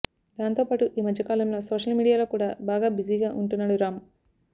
దాంతో పాటు ఈమధ్య కాలంలో సోషల్ మీడియాలో కూడా బాగా బిజీగా ఉంటున్నాడు రామ్